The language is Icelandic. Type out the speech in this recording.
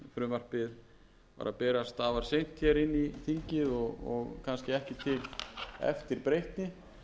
inn í þingið og kannski ekki til eftirbreytni